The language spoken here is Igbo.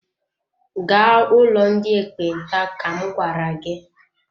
Gaa ụlọ ndị ekpenta ka m gwara gị!